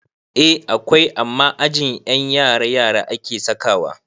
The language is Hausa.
Eh akwai amma a ajin ƴan yara - yara ake sakawa